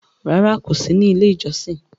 Rárá, kò sí ní Ilé-ìjọsìn.